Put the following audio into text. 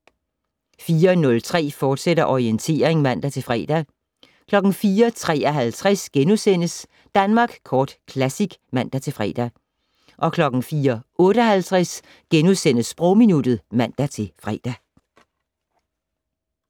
04:03: Orientering, fortsat (man-fre) 04:53: Danmark Kort Classic *(man-fre) 04:58: Sprogminuttet *(man-fre)